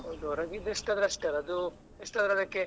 ಹೌದು ಹೊರಗಿದ್ದು ಎಷ್ಟ್ ಆದ್ರೂ ಅಷ್ಟೇ ಅಲ್ಲ ಅದು ಎಷ್ಟ್ ಆದ್ರೂ ಅದಕ್ಕೆ.